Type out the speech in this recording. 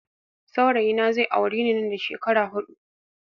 Saurayi na zai aure ni nan da shekara hudu